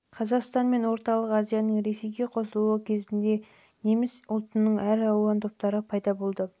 қазақстан мен орталық азияның ресейге қосылуы кезінде неміс ұлтының әр алуан топтары пайда болды